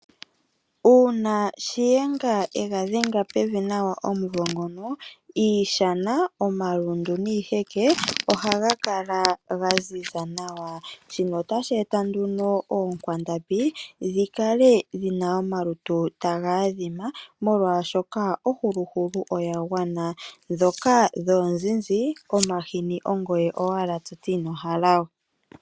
Uuna shiyenga egadhenga pevi nawa omumvo ngono iishana, omalundu niiheke ohaga kala gaziza nawa. Shino otasheeta nduno oonkwandambi dhikale dhina omalutu taga adhima molwaashoka ohuluhulu oyagwana, ndhoka dhoonzinzi omahini ongoye owala toti inohalawe.